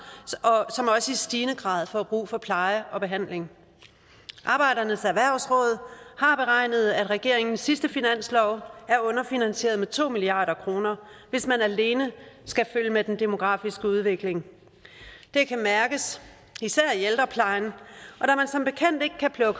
som også i stigende grad får brug for pleje og behandling arbejdernes erhvervsråd har beregnet at regeringens sidste finanslov er underfinansieret med to milliard kr hvis man alene skal følge med den demografiske udvikling det kan mærkes især i ældreplejen